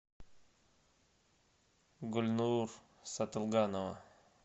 гульнур сатылганова